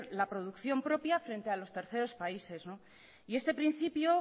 la producción propia frente a los terceros países este principio